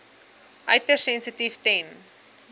uiters sensitief ten